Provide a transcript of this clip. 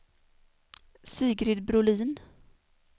Sigrid Brolin